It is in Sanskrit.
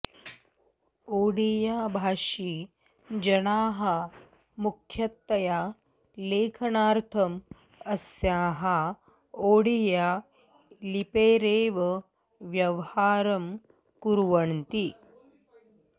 ओडियाभाषी जनाः मुख्यतया लेखनार्थम् अस्याः ओडियालिपेरेव व्यवहारं कुर्वन्ति